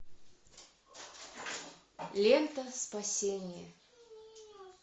лента спасение